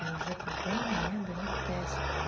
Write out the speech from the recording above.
и уже потом у меня берут тест